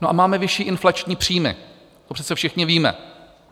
No a máme vyšší inflační příjmy, to přece všichni víme.